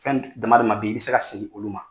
Fɛn d dama dama be ye, i be se ka segin olu ma.